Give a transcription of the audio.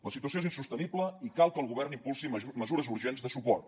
la situació és insostenible i cal que el govern impulsi mesures urgents de suport